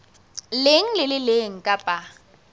leng le le leng kapa